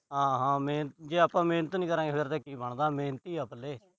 ਹਾਂ ਹਾਂ। ਮਿਹ ਅਹ ਜੇ ਆਪਾ ਮਿਹਨਤ ਨੀ ਕਰਾਂਗੇ, ਫਿਰ ਕੀ ਬਣਦਾ, ਮਿਹਨਤ ਈ ਹੈ ਪੱਲੇ।